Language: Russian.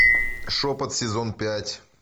шепот сезон пять